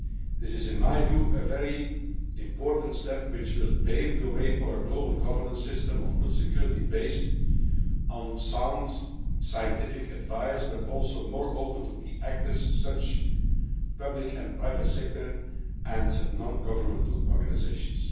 This is, in my view, a very important step, which will pave the way for a global governance system of food security based on sound scientific advice but one also more open to key actors in the public and private sector and non governmental organisations.